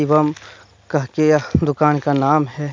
शिवम कह के यह दुकान का नाम है।